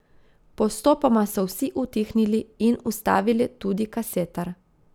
Postopoma so vsi utihnili in ustavili tudi kasetar.